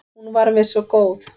Hún var mér svo góð.